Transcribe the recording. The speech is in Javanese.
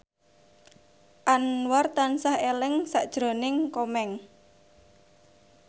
Anwar tansah eling sakjroning Komeng